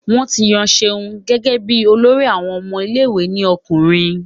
Wọ́n ti yan Ṣeun gẹ́gẹ́ bí olórí àwọn ọmọ ilé ìwé ní ọkùnrin